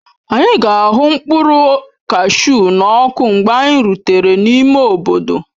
Anyị ga-ahu mkpụrụ kashu n'ọkụ mgbe anyị rutere n'ime obodo.